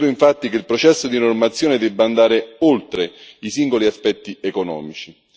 Credo infatti che il processo di normazione debba andare oltre i singoli aspetti economici.